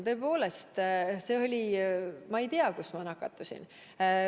Tõepoolest, ma ei tea, kus ma nakatusin.